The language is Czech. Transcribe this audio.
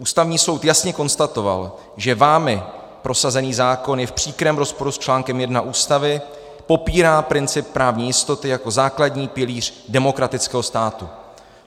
Ústavní soud jasně konstatoval, že vámi prosazený zákon je v příkrém rozporu s článkem 1 Ústavy, popírá princip právní jistoty jako základní pilíř demokratického státu.